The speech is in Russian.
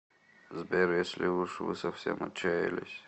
сбер если уж вы совсем отчаялись